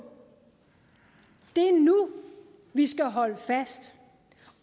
det er nu vi skal holde fast